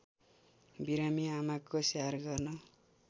बिरामी आमाको स्याहार गर्न